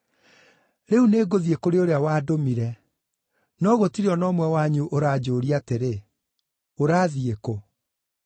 “Rĩu nĩngũthiĩ kũrĩ ũrĩa wandũmire. No gũtirĩ o na ũmwe wanyu ũranjũũria atĩrĩ, ‘Ũrathiĩ kũ?’